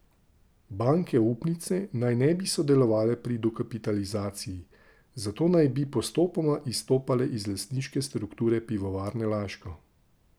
Banke upnice naj ne bi sodelovale pri dokapitalizaciji, zato naj bi postopoma izstopale iz lastniške strukture Pivovarne Laško.